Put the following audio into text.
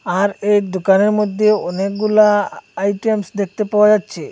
আর এই দুকানের মধ্যে অনেকগুলা আ-আইটেমস দেখতে পাওয়া যাচ্ছে।